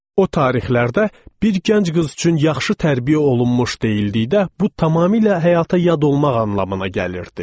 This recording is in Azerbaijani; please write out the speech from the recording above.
O tarixlərdə bir gənc qız üçün yaxşı tərbiyə olunmuş deyildikdə, bu tamamilə həyata yad olmaq anlamına gəlirdi.